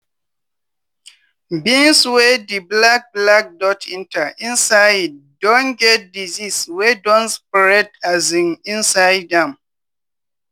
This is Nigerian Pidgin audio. beans wey di black black dot enter inside usually don get disease wey don spread um inside am.